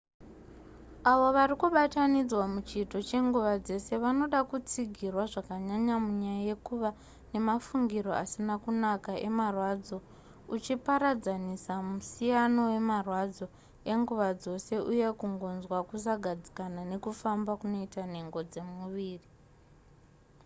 avo vari kubatanidzwa muchiito chenguva dzese vanoda kutsigirwa zvakanyanya munyaya yekuva nemafungiro asina kunaka emarwadzo uchiparadzanisa musiyano wemarwadzo enguva dzose uye kungonzwa kusagadzikana nekufamba kunoita nhengo dzemuviri